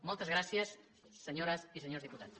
moltes gràcies senyores i senyors diputats